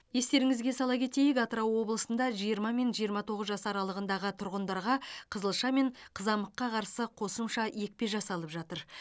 естеріңізге сала кетейік атырау облысында жиырма мен жиырма тоғыз жас аралығындағы тұрғындарға қызылша мен қызамыққа қарсы қосымша екпе жасалып жатыр